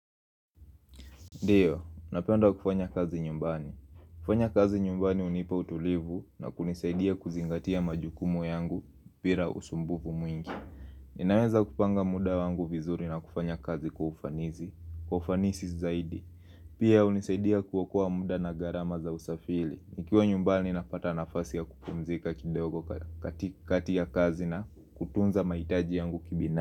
Ndio, napenda kufanya kazi nyumbani. Kufanya kazi nyumbani hunipa utulivu na kunisaidia kuzingatia majukumu yangu bira usumbuvu mwingi. Ninaweza kupanga muda wangu vizuri na kufanya kazi kwa ufanizi. Kwa ufanisi zaidi. Pia hunisaidia kuokoa mda na gharama za usafili. Nikiwa nyumbani napata nafasi ya kupumzika kidogo kak kati kati ya kazi na kutunza maitaji yangu kibina.